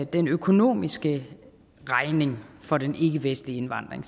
den økonomiske regning for den ikkevestlige indvandring